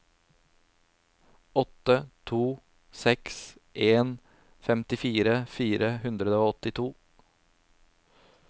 åtte to seks en femtifire fire hundre og åttito